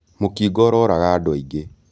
Mũkingo ũroraga andũ aingĩ.